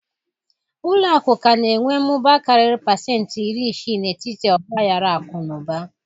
Ụlọ akụ ka na-enwe mmụba karịrị pasenti iri isii n'etiti ọgba aghara akụ na ụba